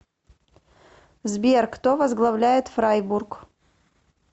сбер кто возглавляет фрайбург